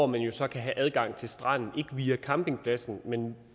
man vil så ikke have adgang til stranden via campingpladsen men